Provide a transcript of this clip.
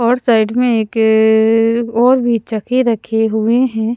और साइड में एक अअअअ और भी चक्के रखे हुए हैं।